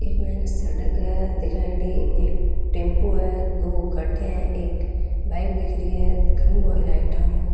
एक मई ने सड़क है दिखाएड़ी एक टेम्पू है दो गाड़िया है एक बाइक दिख री है खम्भों है लाइटा नु।